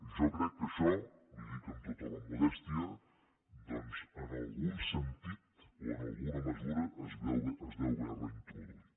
jo crec que això li ho dic amb tota la modèstia doncs en algun sentit o en alguna mesura es deu haver reintroduït